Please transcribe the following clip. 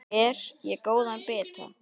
Ber ég góða bita.